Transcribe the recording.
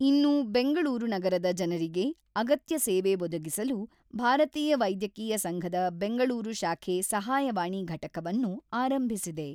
ಇನ್ನೂ ಬೆಂಗಳೂರು ನಗರದ ಜನರಿಗೆ ಅಗತ್ಯ ಸೇವೆ ಒದಗಿಸಲು ಭಾರತೀಯ ವೈದ್ಯಕೀಯ ಸಂಘದ ಬೆಂಗಳೂರು ಶಾಖೆ ಸಹಾಯವಾಣಿ ಘಟಕವನ್ನು ಆರಂಭಿಸಿದೆ.